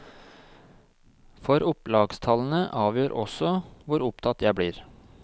For opplagstallene avgjør også hvor opptatt jeg blir.